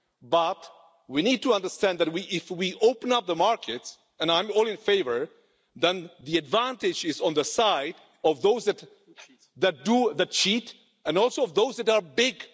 But we need to understand that if we open up the market and I'm all in favour then the advantage is on the side of those that cheat and also of those that are big.